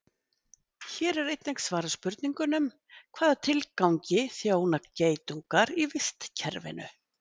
Hér er einnig svarað spurningunum: Hvaða tilgangi þjóna geitungar í vistkerfinu?